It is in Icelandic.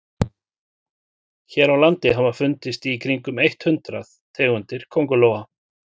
hér á landi hafa fundist í kringum eitt hundruð tegundir köngulóa